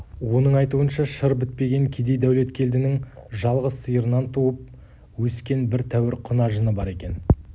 оның айтуынша шыр бітпеген кедей дәулеткелдінің жалғыз сиырынан туып өскен бір тәуір құнажыны бар екен